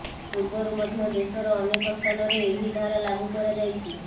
ପୂର୍ବରୁ ମଧ୍ୟ ଦେଶର ଅନେକ ସ୍ଥାନରେ ଏହି ଧାରା ଲାଗୁ କରାଯାଇଛି